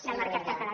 del mercat català